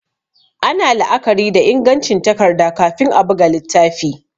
Ana la'akari da ingancin takarda kafin a buga littafi